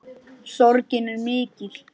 Sorgin er mikill.